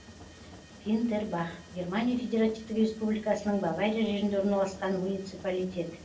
винтербах германия федеративтік республикасының бавария жерінде орналасқан муниципалитет